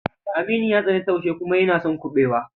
Aminu ya tsani taushe kuma yana son kuɓewa.